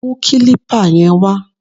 Mú kílípà yẹn wá!